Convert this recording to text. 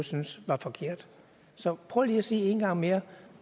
synes var forkert så prøv lige at sige en gang mere